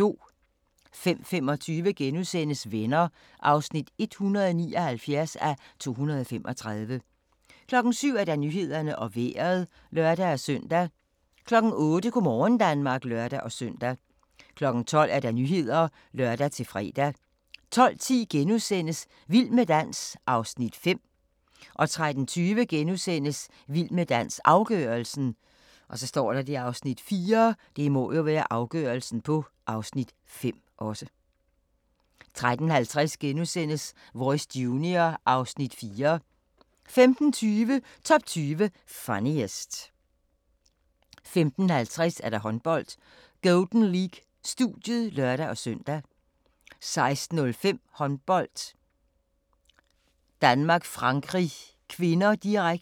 05:25: Venner (179:235)* 07:00: Nyhederne og Vejret (lør-søn) 08:00: Go' morgen Danmark (lør-søn) 12:00: Nyhederne (lør-fre) 12:10: Vild med dans (Afs. 5)* 13:20: Vild med dans – afgørelsen (Afs. 4)* 13:50: Voice Junior (Afs. 4)* 15:20: Top 20 Funniest 15:50: Håndbold: Golden League - studiet (lør-søn) 16:05: Håndbold: Danmark-Frankrig (k), direkte